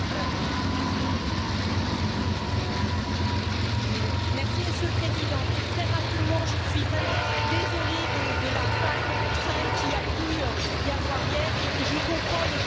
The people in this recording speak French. Monsieur le Président, très rapidement, je suis vraiment désolée de la panne de train qu'il y a eu hier et je comprends le désagrément pour les collègues et surtout pour l'ensemble des collaborateurs.